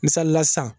Misalila sisan